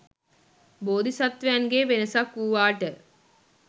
බෝධිසත්වයන්ගේ වෙනසක් වූවාට